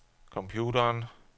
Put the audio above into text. computeren